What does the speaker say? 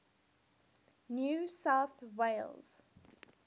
new south wales